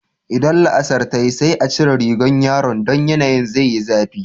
Idan la'asar ta yi sai a cire rigan yaran, don yanayin zai yi zafi.